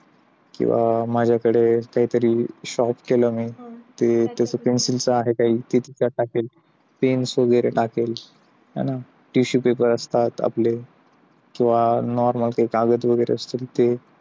किंवा माझ्याकडे काहीतरी sharp केलं मी ते त्याचा pencil चा आहे, काय तिथे टाकीन pens वगैरे टाकेल tissue paper असतात आपले किंवा normal काही कागद वगैरे असते ते